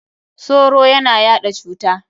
Soro ya na yaɗa cuta.